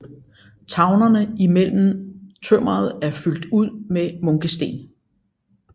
Tavlerne i mellem tømmeret er fyldt ud med munkesten